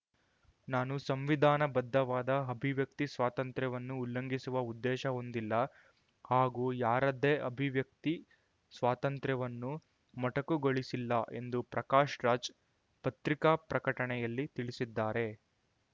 ನಾನು ಸಂವಿಧಾನಬದ್ಧವಾದ ಅಭಿವ್ಯಕ್ತಿ ಸ್ವಾತಂತ್ರ್ಯವನ್ನು ಉಲ್ಲಂಘಿಸುವ ಉದ್ದೇಶ ಹೊಂದಿಲ್ಲ ಹಾಗೂ ಯಾರದ್ದೇ ಅಭಿವ್ಯಕ್ತಿ ಸ್ವಾತಂತ್ರ್ಯವನ್ನು ಮೊಟಕುಗೊಳಿಸಿಲ್ಲ ಎಂದು ಪ್ರಕಾಶ್‌ ರಾಜ್‌ ಪತ್ರಿಕಾ ಪ್ರಕಟಣೆಯಲ್ಲಿ ತಿಳಿಸಿದ್ದಾರೆ